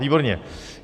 Výborně.